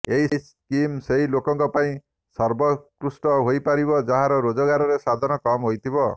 ଏହି ସ୍କିମ୍ ସେହି ଲୋକଙ୍କ ପାଇଁ ସର୍ବୋକୃଷ୍ଟ ହୋଇପାରିବ ଯାହାର ରୋଜଗରେ ସାଧନ କମ୍ ହୋଇଥିବ